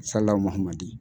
MAHAMADI.